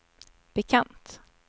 bekant